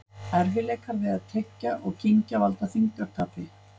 Erfiðleikar við að tyggja og kyngja valda þyngdartapi.